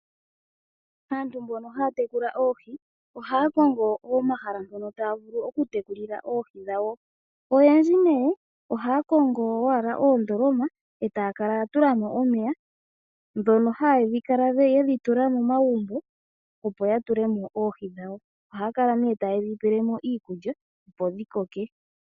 Aantu mbono haya tekula oohi, ohaya konago omahala mpono taya vulu okutekulila oohi dhawo. Oyendji ohaya kongo oondoloma e taya kala ya tula mo omeya ndhono haya kala yedhi tula momagumbo omo taya tekulile oohi dhawo. Ohaya kala nee yedhi tula momagumbo, mono haya kala taye dhi pele mo iikulya opo dhi koke.